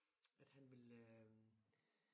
At han vil øh